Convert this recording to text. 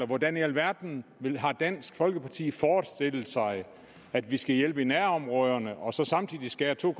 hvordan i alverden har dansk folkeparti forestillet sig at vi skal hjælpe i nærområderne og så samtidig skære to